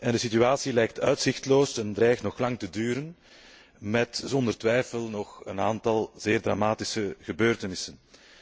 De situatie lijkt uitzichtloos en dreigt nog lang te duren, met zonder twijfel nog een aantal zeer dramatische gebeurtenissen.